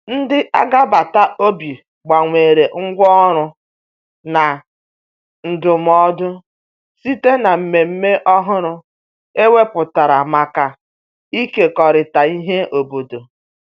ndi agabata obi gbanwere ngwa ọrụ na ndumụdo site na mmeme ọhụrụ e weputara maka ikekọrita ihe obodo